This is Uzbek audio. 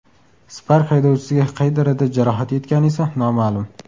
Spark haydovchisiga qay darajada jarohat yetgani esa noma’lum.